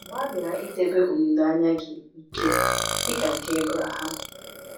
Gbalịa idebe olileanya gị ike dị ka nke Ebraham.